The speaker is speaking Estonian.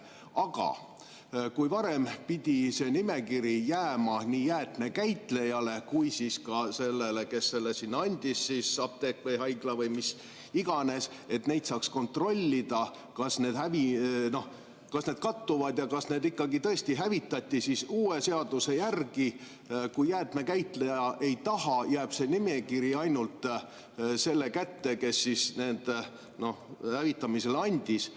Aga kui varem pidi see nimekiri jääma nii jäätmekäitlejale kui ka sellele, kes andis, apteek või haigla või kes iganes, et saaks kontrollida, kas need kattuvad ja kas need ikkagi tõesti hävitati, siis uue seaduse järgi, kui jäätmekäitleja ei taha, jääb see nimekiri ainult selle kätte, kes need hävitamiseks üle andis.